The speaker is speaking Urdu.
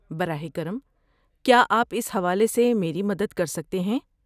براہ کرم، کیا آپ اس حوالے سے میری مدد کر سکتے ہیں؟